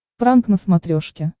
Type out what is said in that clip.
пранк на смотрешке